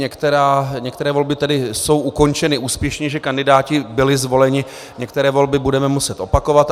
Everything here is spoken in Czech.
Některé volby tedy jsou ukončeny úspěšně, že kandidáti byli zvoleni, některé volby budeme muset opakovat.